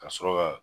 Ka sɔrɔ ka